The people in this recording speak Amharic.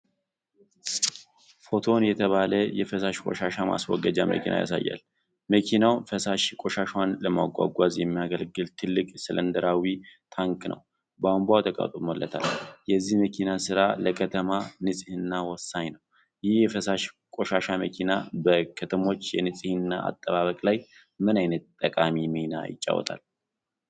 ፎቶን የተባለ የፍሳሽ ቆሻሻ ማስወገጃ መኪና ያሳያል። መኪናው ፈሳሽ ቆሻሻን ለማጓጓዝ የሚያገለግል ትልቅ ሲሊንደራዊ ታንክ እና ቧንቧ ተገጥሞለታል። የዚህ መኪና ሥራ ለከተማ ንፅህና ወሳኝ ነው። ይህ የፍሳሽ ቆሻሻ መኪና በከተሞች የንፅህና አጠባበቅ ላይ ምን ዓይነት ጠቃሚ ሚና ይጫወታል?